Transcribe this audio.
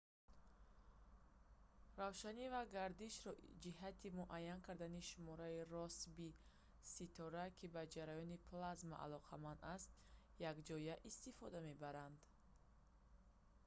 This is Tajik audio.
равшанӣ ва гардишро ҷиҳати муайян кардани шумораи россбии ситора ки ба ҷараёни плазма алоқаманд аст якҷоя истифода мебаранд